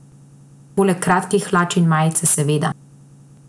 Poleg kratkih hlač in majice, seveda.